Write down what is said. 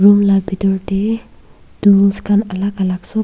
room laga bethor te tools khan alag alag sob--